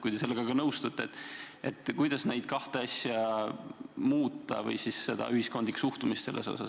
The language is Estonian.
Kui te sellega nõustute, siis kuidas neid kahte asja muuta või muuta seda ühiskondlikku suhtumist?